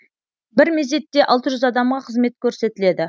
бір мезетте алты жүз адамға қызмет көрсетіледі